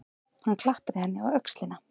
Hann klappaði henni á öxlina.